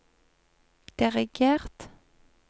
dirigert